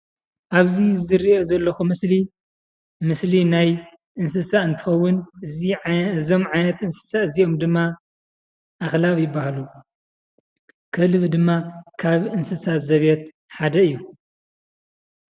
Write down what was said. ኣብዚ ዝሪኦ ዘለኹ ምስሊ ምስሊ ናይ እንስሳ እንትኸውን እዚ እዞም ዓይነት እንስሳ እዚኦም ድማ ኣኽላብ ይበሃሉ። ከልቢ ድማ ካብ እንስሳ ዘቤት ሓደ እዩ።